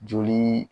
Joli